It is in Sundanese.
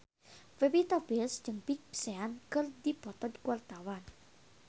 Pevita Pearce jeung Big Sean keur dipoto ku wartawan